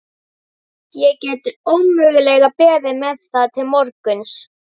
Ég get ómögulega beðið með það til morguns.